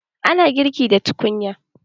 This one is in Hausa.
Ana girki da tukunya.